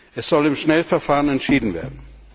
Es soll im Schnellverfahren entschieden werden.